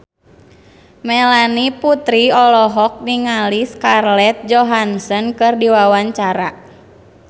Melanie Putri olohok ningali Scarlett Johansson keur diwawancara